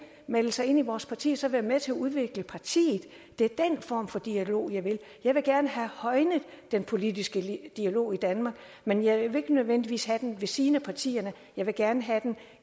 melde sig ind i vores parti og så være med til at udvikle partiet det er den form for dialog jeg vil jeg vil gerne have højnet den politiske dialog i danmark men jeg vil ikke nødvendigvis have den ved siden af partierne jeg vil gerne have den